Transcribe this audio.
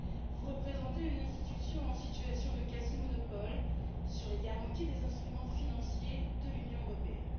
Vous représentez une institution en situation de quasi monopole sur les garanties des instruments financiers de l'Union européenne.